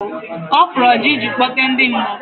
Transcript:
Ọ fụrụ ọjà ịji kpọte ndị mmụọ.